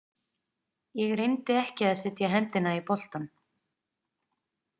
Ég reyndi ekki að setja hendina í boltann.